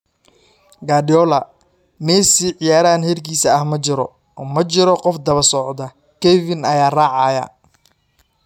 Guardiola: Messi waa ciyaaryahan heerkiisa ah, ma jiro qof daba socda, Kevin ayaa raacaya.